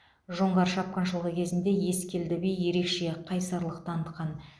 жоңғар шапқыншылығы кезінде ескелді би ерекше қайсарлық танытқан